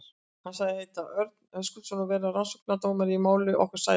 Hann sagðist heita Örn Höskuldsson og vera rannsóknardómari í máli okkar Sævars.